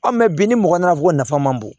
bi ni mɔgɔ nana ko nafa man bon